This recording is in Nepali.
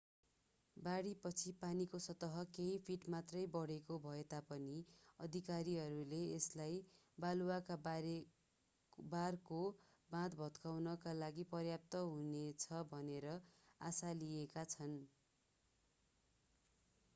बाढीपछि पानीको सतह केही फिट मात्रै बढ्ने भए तापनि अधिकारीहरूले यसलाई बालुवाका बारको बाँध भत्काउनका लागि पर्याप्त हुनेछ भनेर आशा लिएका छन्